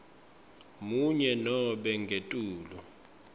munye nobe ngetulu